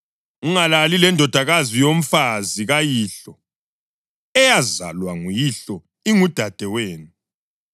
Ungalali lendodakazi yomfazi kayihlo, eyazalwa nguyihlo, ingudadewenu.